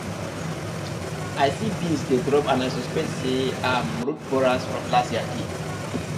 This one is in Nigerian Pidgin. i see beans dey drop and i suspect say um root borers from last year dey